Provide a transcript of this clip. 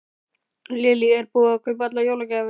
Lillý: Er búið að kaupa allar jólagjafir?